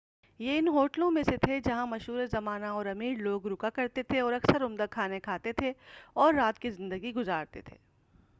یہ ان ہوٹلوں میں سے تھے جہاں مشھور زمانہ اور امیر لوگ رکا کرتے تھے اور اکثر عمدہ کھانے کھاتے اور رات کی زندگی گذارتے تھے